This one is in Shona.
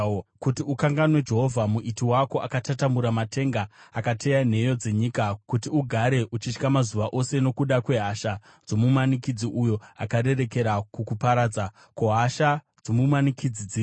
kuti ukanganwe Jehovha Muiti wako, akatatamura matenga, akateya nheyo dzenyika, kuti ugare uchitya mazuva ose nokuda kwehasha dzomumanikidzi, uyo akarerekera kukuparadza? Ko, hasha dzomumanikidzi dziripi?